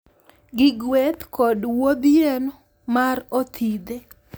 Gi gueth kod wuodh yien mar othidhe.